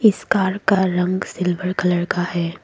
इस कार का रंग सिल्वर कलर का है।